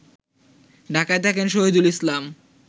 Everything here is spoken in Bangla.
ঢাকায় থাকেন শহীদুল ইসলাম